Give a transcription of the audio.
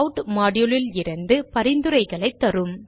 add module லிருந்து பரிந்துரைகளைத் தரும்